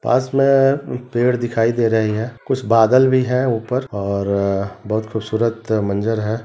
पास में पेड़ दिखाई दे रही है कुछ बदल भी है ऊपर और बहुत खूबसूरत मंज़र हैं।